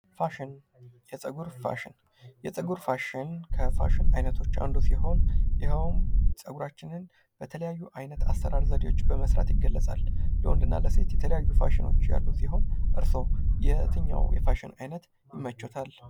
ፋሽን የፀጉር ፋሽን ከፋሽን አይነቶች አንዱ ሲሆን ይኸውም ፀጉራችንን በተለያዩ አይነት ዘዴዎች በመስራት ይገለፃል ለወንድ እና ለሴት የተለያዩ ፋሽኖች ያሉ ሲሆን እርስዎ የትኛው የፋሽን አይነት ይመቸወታል?